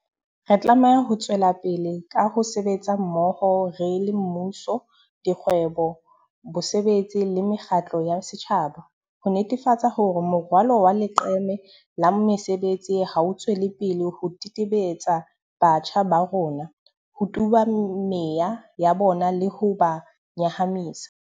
Re tlameha ho tswelapele ka ho sebetsa mmoho re le mmuso, dikgwebo, bosebetsi le mekgatlo ya setjhaba, ho netefatsa hore morwalo wa leqeme la mesebetsi ha o tswele pele ho tetebetsa batjha ba rona, ho tuba meya ya bona le ho ba nyahamisa.